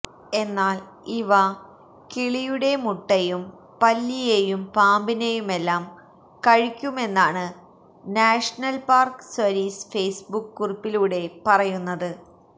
എന്നാല് ഇവ കിളിയുടെ മുട്ടയും പല്ലിയേയും പാമ്പിനേയുമെല്ലാം കഴിക്കുമെന്നാണ് നാഷണല് പാര്ക്ക് സര്വീസ് ഫേയ്സ്ബുക്ക് കുറിപ്പിലൂടെ പറയുന്നത്